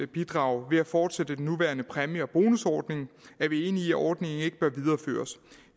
bidrag ved at fortsætte den nuværende præmie og bonusordning er vi enige i at ordningen ikke bør videreføres